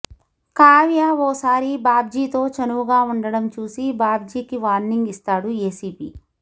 కావ్య ఓసారి బాబ్జీతో చనువుగా ఉండడం చూసి బాబ్జీకి వార్నింగ్ ఇస్తాడు ఏసీపీ